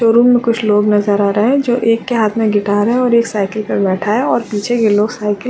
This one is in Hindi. शोरूम मे कुछ लोग नजर आ रहे हैं जो एक के हाथ मे गिटार है और एक साइकिल मे बैठा है और पीछे येलो साइकिल --